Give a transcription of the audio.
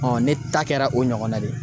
ne ta kɛra o ɲɔgɔnna de ye.